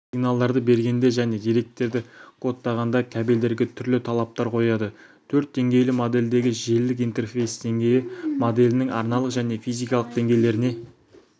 сигналдарды бергенде және деректерді кодтағанда кабельдерге түрлі талаптар қояды төрт деңгейлі модельдегі желілік интерфейс деңгейі моделінің арналық және физикалық деңгейлеріне